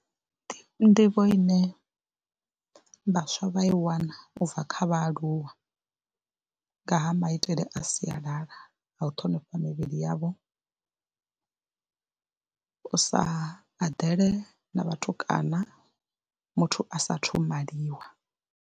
Ndi nḓivho ine vhaswa vha i wana u bva kha vhaaluwa nga ha maitele a sialala a u ṱhonifha mivhili yavho, u sa eḓele na vhatukana muthu a saathu maliwa.